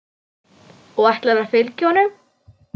Og ætlarðu að fylgja honum?